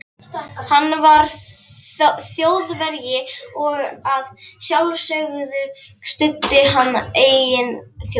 Hann var Þjóðverji og að sjálfsögðu studdi hann eigin þjóð.